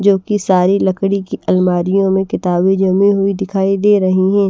जो कि सारी लकड़ी की अलमारियों में किताबें जमी हुई दिखाई दे रही हैं।